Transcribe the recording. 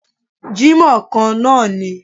Jímọ̀ kan náà ni